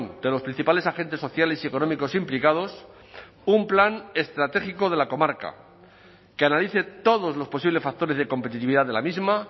de los principales agentes sociales y económicos implicados un plan estratégico de la comarca que analice todos los posibles factores de competitividad de la misma